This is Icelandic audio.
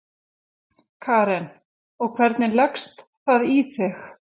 Karen: Og, hvernig leggst það í þig?